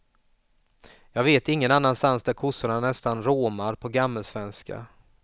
Jag vet ingen annanstans där kossorna nästan råmar på gammalsvenska.